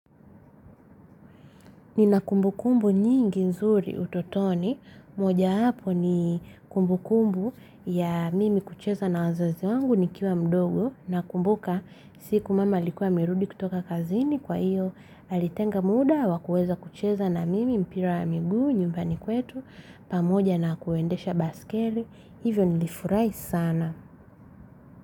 Nina kumbukumbu nyingi nzuri utotoni, mojawapo ni kumbukumbu ya mimi kucheza na wazazi wangu nikiwa mdogo nakumbuka siku mama alikuwa amerudi kutoka kazini kwa hiyo, alitenga muda wa kueza kucheza na mimi mpira ya miguu nyumbani kwetu, pamoja na kuendesha baiskeli, hivyo nilifurahi sana.